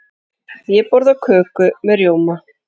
Ég borða köku með rjóma.